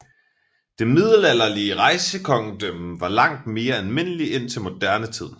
Det middelalderlige rejsekongedømme var langt mere almindelig indtil moderne tid